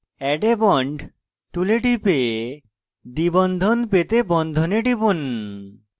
add a bond tool tool টিপে দ্বিবন্ধন পেতে বন্ধনে টিপুন